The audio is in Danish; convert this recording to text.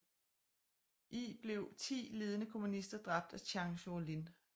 I blev 10 ledende kommunister dræbt af Zhang Zuolin